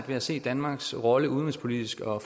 ved at se danmarks rolle udenrigspolitisk og